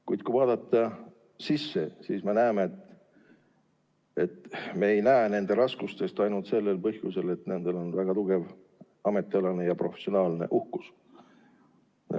Kuid kui vaadata sissepoole, siis mõistame, et me ei näe nende raskusi ainult sel põhjusel, et neil on väga tugev ametialane, professionaalne uhkus.